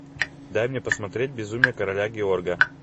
дай мне посмотреть безумие короля георга